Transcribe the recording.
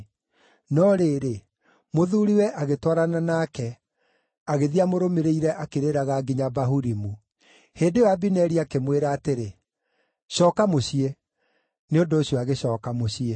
No rĩrĩ, mũthuuriwe, agĩtwarana nake, agĩthiĩ amũrũmĩrĩire akĩrĩraga nginya Bahurimu. Hĩndĩ ĩyo Abineri akĩmwĩra atĩrĩ, “Cooka mũciĩ!” Nĩ ũndũ ũcio agĩcooka mũciĩ.